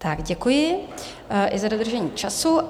Tak děkuji i za dodržení času.